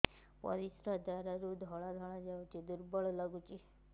ପରିଶ୍ରା ଦ୍ୱାର ରୁ ଧଳା ଧଳା ଯାଉଚି ଦୁର୍ବଳ ଲାଗୁଚି